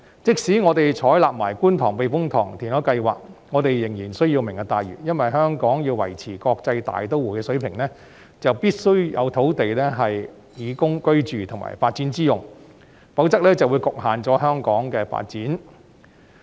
即使我們採納觀塘避風塘填海計劃，我們仍需要"明日大嶼"，因為香港要維持國際大都會的地位，便必須要有土地供居住及發展之用，否則香港的發展便受到局限。